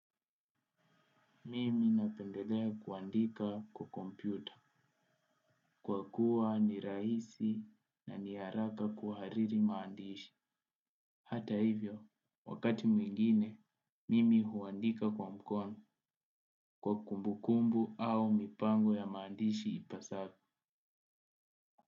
Mimi napendelea kuandika kwa kompyuta. Kwa kuwa ni raisi na ni haraka kuhariri maandishi. Hata hivyo, wakati mwingine, mimi huandika kwa mkono kwa kumbu kumbu au mipango ya maandishi ipasavyo.